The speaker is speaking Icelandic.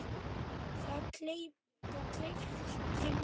Það gleypti mig.